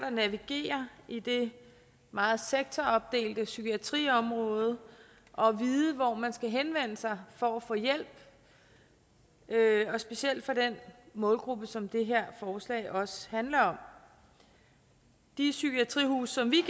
at navigere i det meget sektoropdelte psykiatriområde og vide hvor man skal henvende sig for at få hjælp og specielt for den målgruppe som det her forslag også handler om de psykiatrihuse som vi